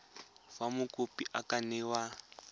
fa mokopi a ka newa